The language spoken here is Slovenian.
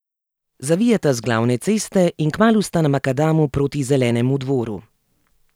Zavijeta z glavne ceste in kmalu sta na makadamu proti Zelenemu Dvoru.